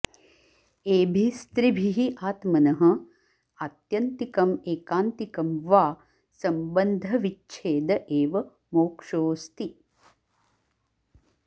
एभिस्त्रिभिः आत्मनः आत्यन्तिकम् एकान्तिकं वा सम्बन्धविच्छेद एव मोक्षोऽस्ति